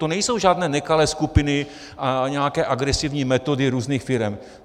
To nejsou žádné nekalé skupiny a nějaké agresivní metody různých firem.